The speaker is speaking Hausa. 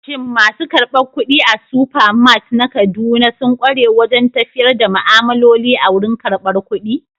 Shin masu karbar kuɗi a Supermart na Kaduna sun ƙware wajen tafiyar da ma'amaloli a wurin karbar kuɗi?